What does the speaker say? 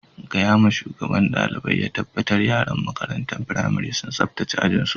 Gaya ma shugaban dalibain ya tabatar yaran makarantan firamarin sun sabtace ajin su.